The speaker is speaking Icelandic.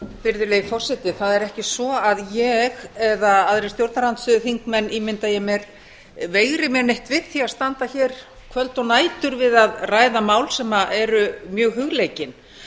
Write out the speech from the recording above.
virðulegi forseti það er ekki svo að ég eða aðrir stjórnarandstöðuþingmenn ímynda ég mér veigri mér neitt við því standa hér kvöld og nætur við að ræða mál sem eru mjög hugleikin